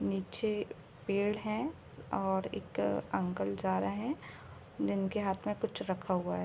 नीचे पेड़ है और एक अंकल जा रहे है जिनके हाथ में कुछ रखा हुआ है।